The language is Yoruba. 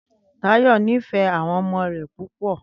Táyò̩ nífè̩é̩ àwo̩n o̩mo̩ rè̩ púpò̩